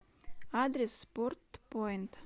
адрес спорт поинт